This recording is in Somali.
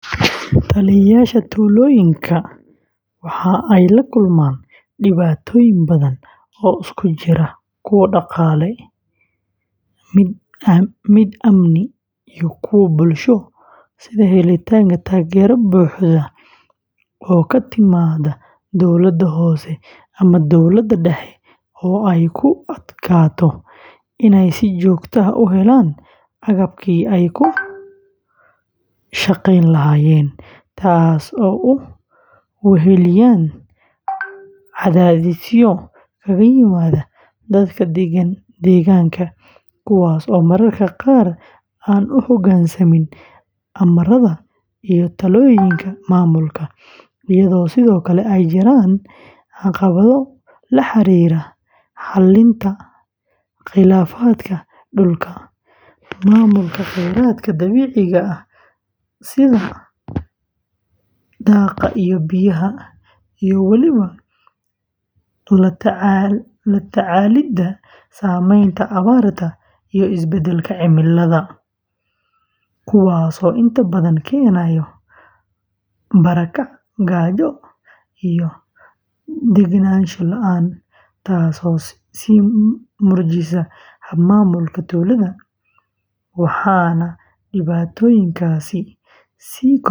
Taliyeyaasha tuulooyinka waxa ay la kulmaan dhibaatooyin badan oo isugu jira kuwo dhaqaale, mid amni, iyo kuwo bulsho, sida helitaanka taageero buuxda oo ka timaadda dowladda hoose ama dowladda dhexe oo ay ku adkaato inay si joogto ah u helaan agabkii ay ku shaqeyn lahaayeen, taasoo ay weheliyaan cadaadisyo kaga yimaada dadka deegaanka kuwaas oo mararka qaar aan u hogaansamin amarada iyo talooyinka maamulka, iyadoo sidoo kale ay jiraan caqabado la xiriira xallinta khilaafaadka dhulka, maamulka kheyraadka dabiiciga ah sida daaqa iyo biyaha, iyo weliba la tacaalidda saameynta abaarta iyo isbedelka cimilada, kuwaasoo inta badan keenaya barakac, gaajo, iyo deganaansho la’aan, taas oo sii murjisa hab-maamulka tuulada; waxaana dhibaatooyinkaasi sii kordhiya.